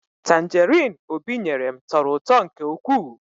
Tanjerin Obi nyere m tọrọ ụtọ nke ụkwụ